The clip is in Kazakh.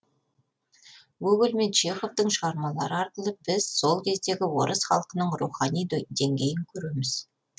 гоголь мен чеховтың шығармалары арқылы біз сол кездегі орыс халқының рухани деңгейін көреміз